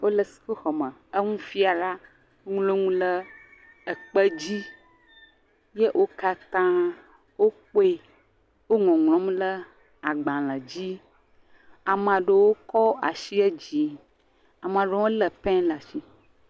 Wole suku xɔme enufiala ŋlo nu le ekpedzi ye wokatã wo kpoe wo ŋɔŋlɔm le agbalẽ dzi, amaɖo kɔ asi dzi, amaɖo hã le pɛn ɖe asi.